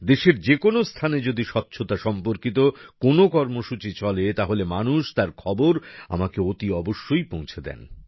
দেশের যে কোন স্থানে যদি স্বচ্ছতা সম্পর্কিত কোন কর্মসূচি চলে তাহলে মানুষ তার খবর আমাকে অতি অবশ্যই পৌঁছে দেন